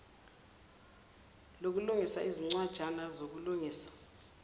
lokulungisa izincwajana zokulungisa